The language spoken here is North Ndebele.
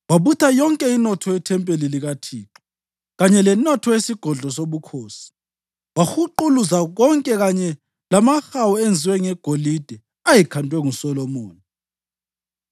Wabutha yonke inotho yethempeli likaThixo kanye lenotho yesigodlo sobukhosi. Wahuquluza konke kanye lamahawu enziwe ngegolide ayekhandwe nguSolomoni.